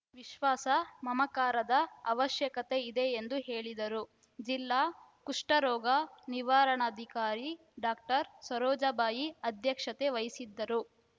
ವಿಶ್ವಾಸ ಮಮಕಾರದ ಅವಶ್ಯಕತೆ ಇದೆ ಎಂದು ಹೇಳಿದರುಜಿಲ್ಲಾ ಕುಷ್ಟರೋಗ ನಿವಾರಣಾಧಿಕಾರಿ ಡಾಕ್ಟರ್ ಸರೋಜಾಬಾಯಿ ಅಧ್ಯಕ್ಷತೆ ವಹಿಸಿದ್ದರು